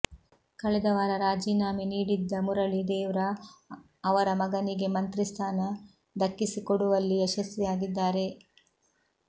ಕಳೆದ ವಾರ ರಾಜೀನಾಮೆ ನೀಡಿದ್ದ ಮುರಳಿ ದೇವ್ರಾ ಅವರ ಮಗನಿಗೆ ಮಂತ್ರಿ ಸ್ಥಾನ ದಕ್ಕಿಸಿಕೊಡುವಲ್ಲಿ ಯಶಸ್ವಿಯಾಗಿದ್ದಾರೆ